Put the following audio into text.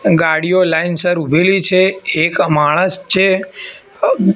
ગાડીઓ લાઈન સર ઊભેલી છે એક માણસ છે.